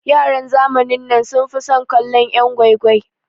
Yaran zamanin nan sun fi son kallon'yan gwai gwai.